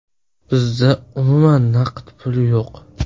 Bizda umuman naqd pul yo‘q.